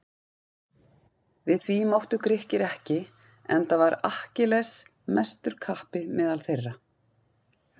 Við því máttu Grikkir ekki enda var Akkilles mestur kappi meðal þeirra.